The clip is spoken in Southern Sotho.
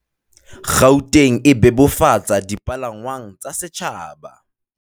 Gauteng e bebofatsa dipalangwang tsa setjhaba